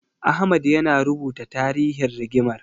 Ahmad yana rubuta tarihin rigimar.